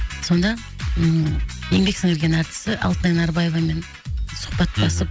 сонда ммм еңбек сіңірген әртісі алтынай нарыбаевамен сұхбаттасып мхм